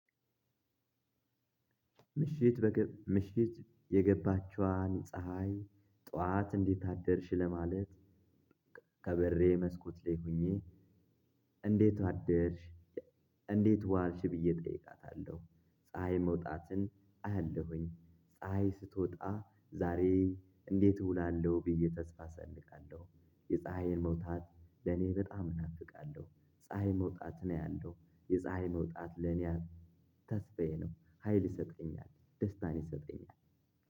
ምሽት የገባችዋን ፀሀይ ጠዋት እንዴት አደርሽ ለማለት ከበሬ መስኮት ላይ ሆኜ እንዴት አደርሽ እላ እንዴት ዋልሽ ብዬ ጠይቃታለሁ። ፀሀይ መውጣትን አያለሁኝ ፀሀይ ስትወጣ ዛሬ እንዴት እውላለሁ ብዬ ተስፋ እሰንቃለሁ። የፀሀይን መውጣት ለኔ በጣም እናፍቃለሁ ፀሀይ መውጣትን አያለው የፀሀይ መውጣት ለኔ ተስፋዬ ነው። ሀይል ይሰጠኛል ደስታን ይሰጠኛል።